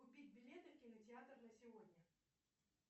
купить билеты в кинотеатр на сегодня